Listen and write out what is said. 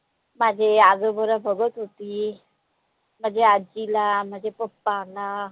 माझे आजोबाला बघता होती माझे आजीला माझे papa ना